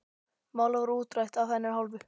Málið var útrætt af hennar hálfu.